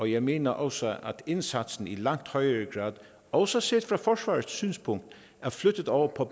jeg mener også at indsatsen i langt højere grad også set fra forsvarets synspunkt er flyttet over på